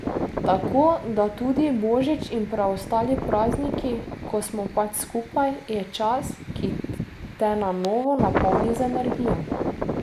Tako da tudi božič in preostali prazniki, ko smo pač skupaj, je čas, ki te na novo napolni z energijo.